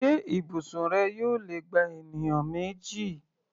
Ṣé ibùsùn rẹ yóò lè gba ènìyàn méjì?